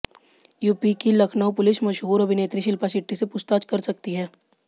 UP की Lucknow police मशहूर अभिनेत्री शिल्पा शेट्टी से पूछताछ कर सकती है